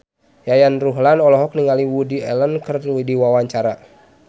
Yayan Ruhlan olohok ningali Woody Allen keur diwawancara